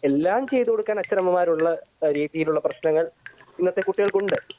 എല്ലാം ചെയ്തുകൊടുക്കാൻ അച്ഛനമ്മമാരുള്ള രീതിയിലുള്ള പ്രശ്നങ്ങൾ ഇന്നത്തെ കുട്ടികൾക്കുണ്ട്